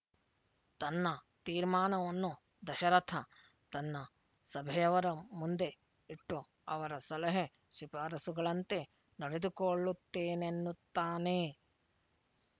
ತನ್ನ ತೀರ್ಮಾನವನ್ನು ದಶರಥ ತನ್ನ ಸಭೆಯವರ ಮುಂದೆ ಇಟ್ಟು ಅವರ ಸಲಹೆ ಶಿಫಾರಸುಗಳಂತೆ ನಡೆದುಕೊಳ್ಳುತ್ತೇನೆನ್ನುತ್ತಾನೆ